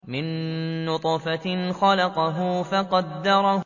مِن نُّطْفَةٍ خَلَقَهُ فَقَدَّرَهُ